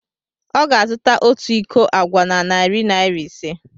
Ọ ga-azụta otu iko agwa na narị naira ise.